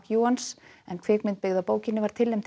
McEwans kvikmynd byggð á bókinni var tilnefnd til